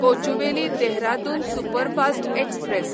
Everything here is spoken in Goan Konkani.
Kochuveli Dehradun superfast express